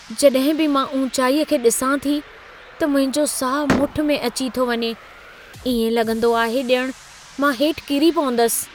जॾहिं बि मां ऊचाईअ खे डि॒सां थी त मुंहिंजो साहु मुठि में अची थो वञे। इएं लॻंदो आहे ॼणु मां हेठ किरी पवंदसि।